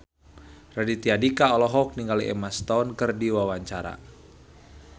Raditya Dika olohok ningali Emma Stone keur diwawancara